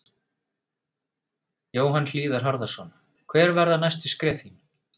Jóhann Hlíðar Harðarson: Hver verða næstu skref þín?